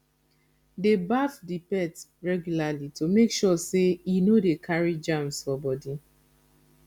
dey baff di pet regularly to make sure sey e no dey carry germs for body